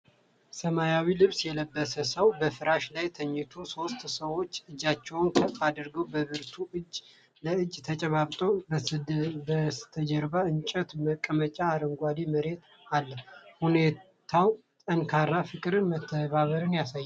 ሰማያዊ ልብስ የለበሰ ሰው በፍራሽ ላይ ተኝቷል። ሦስት ሰዎች እጃቸውን ከፍ አድርገው በብርቱ እጅ ለእጅ ተጨባብጠዋል። በስተጀርባ የእንጨት መቀመጫና አረንጓዴ መሬት አለ። ሁኔታው ጠንካራ ፍቅርንና መተባበርን ያሳያል።